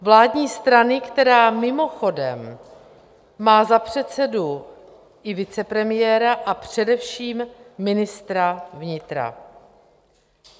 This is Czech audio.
Vládní strany, která mimochodem má za předsedu i vicepremiéra a především ministra vnitra.